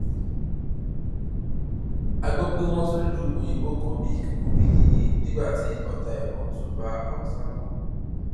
a gbọ pé wọn tún lu òyìnbó kan bíi kíkú bíi yíyẹ nígbà tí ọta ìbọn tún bá haúsá kan